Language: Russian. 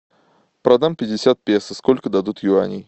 продам пятьдесят песо сколько дадут юаней